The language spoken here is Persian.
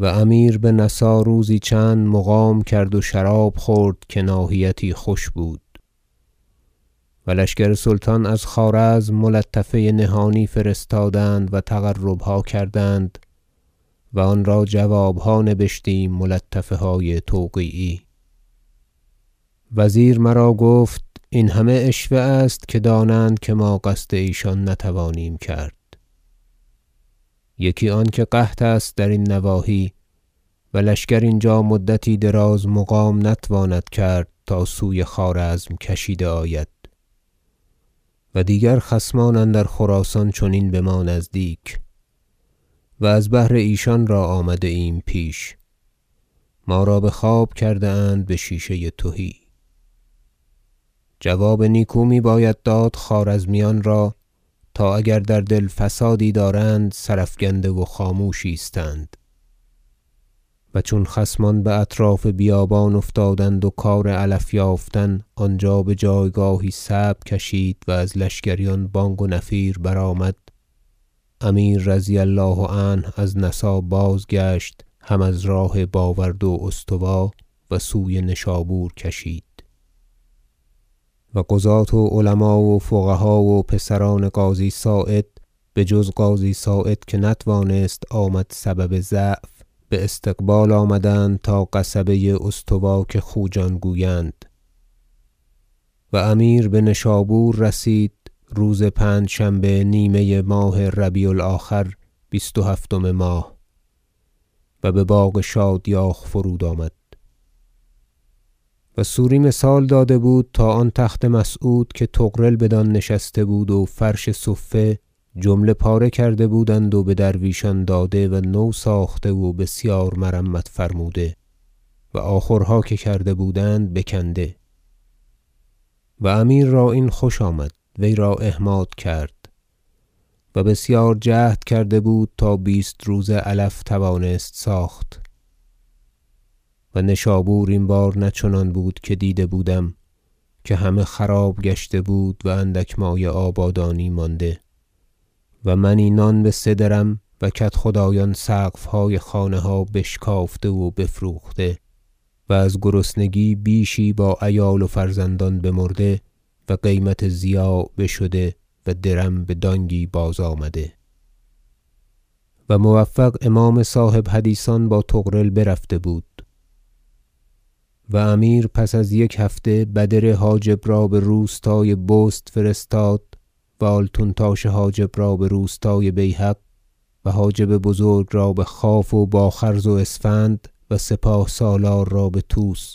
و امیر به نسا روزی چند مقام کرد و شراب خورد که ناحیتی خوش بود و لشکر سلطان از خوارزم ملطفه نهانی فرستادند و تقربها کردند و آن را جوابها نبشتیم ملطفه های توقیعی وزیر مرا گفت این همه عشوه است که دانند که ما قصد ایشان نتوانیم کرد یکی آنکه قحط است درین نواحی و لشکر اینجا مدتی دراز مقام نتواند کرد تا سوی خوارزم کشیده آید و دیگر خصمان اندر خراسان چنین بما نزدیک و از بهر ایشان را آمده ایم پیش ما را بخواب کرده اند بشیشه تهی جواب نیکو میباید داد خوارزمیان را تا اگر در دل فسادی دارند سرافگنده و خاموش ایستند و چون خصمان باطراف بیابان افتادند و کار علف یافتن آنجا بجایگاهی صعب کشید و از لشکریان بانگ و نفیر برآمد امیر رضی الله عنه از نسا بازگشت هم از راه باورد و استوا و سوی نشابور کشید و قضاة و علما و فقها و پسران قاضی صاعد بجز قاضی صاعد که نتوانست آمد سبب ضعف باستقبال آمدند تا قصبه استوا که خوجان گویند و امیر بنشابور رسید روز پنجشنبه نیمه ماه ربیع الآخر بیست و هفتم ماه و بباغ شادیاخ فرود آمد و سوری مثال داده بود تا آن تخت مسعود که طغرل بدان نشسته بود و فرش صفه جمله پاره کرده بودند و بدرویشان داده و نو ساخته و بسیار مرمت فرموده و آخورها که کرده بودند بکنده و امیر را این خوش آمد وی را احماد کرد و بسیار جهد کرده بود تا بیست روزه علف توانست ساخت و نشابور این بار نه چنان بود که دیده بودم که همه خراب گشته بود و اندک مایه آبادانی مانده و منی نان بسه درم و کدخدایان سقفهای خانها بشکافته و بفروخته و از گرسنگی بیشی با عیال و فرزندان بمرده و قیمت ضیاع بشده و درم بدانگی بازآمده و موفق امام صاحب حدیثان با طغرل برفته بود و امیر پس از یک هفته بدر حاجب را بروستای بست فرستاد و آلتون تاش حاجب را بروستای بیهق و حاجب بزرگ را بخواف و با خرز و اسفند و سپاه سالار را بطوس